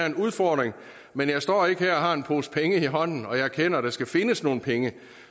en udfordring men jeg står ikke her og har en pose penge i hånden og jeg erkender at der skal findes nogle penge